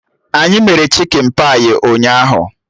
Anyị mere chikin pai ụnyaahụ